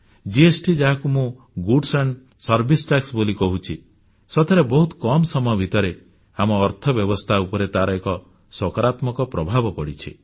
GST ଯାହାକୁ ମୁଁ good and simple tax ଭଲ ଓ ସରଳ ଟିକସ ବୋଲି କହୁଛି ସତରେ ବହୁତ କମ ସମୟ ଭିତରେ ଆମ ଅର୍ଥବ୍ୟବସ୍ଥା ଉପରେ ତାର ଏକ ସକାରାତ୍ମକ ପ୍ରଭାବ ପଡ଼ିଛି